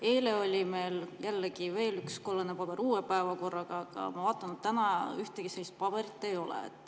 Eile oli meil veel üks kollane paber uue päevakorraga, aga ma vaatan, et täna ühtegi sellist paberit ei ole.